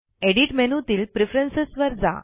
edit मेनूतील preference वर जा